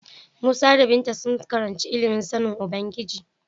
Musa da Binta sun karanci ilimin sanin Ubangiji.